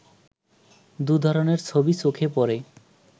দু'ধরনের ছবি চোখে পড়ে